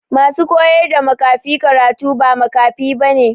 Ma su koyar da makafi karatu ba makafi ba ne.